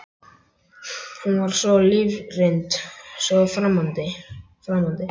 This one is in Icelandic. Hún var svo lífsreynd, svo framandi.